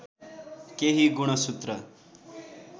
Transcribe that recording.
केही गुणसूत्र